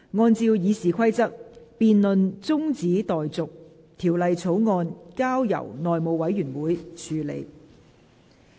按照《議事規則》，辯論中止待續，條例草案交由內務委員會處理。